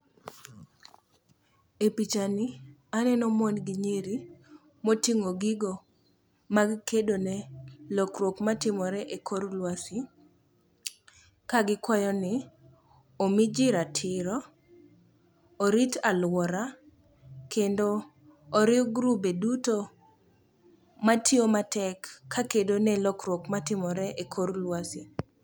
E pichani, aneno mon gi nyiri moting'o gigo mag kedo ne lokruok matimore e kor lwasi ka gikwayo ni omi ji ratiro, orit alwora kendo oriw grube duto matiyo matek ka kedo ne lokruok matimore e kor lwasi.